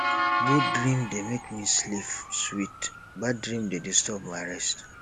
good dream dey make me sleep sweet bad dream dey disturb my rest